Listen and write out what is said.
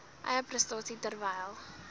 eie prestasie terwyl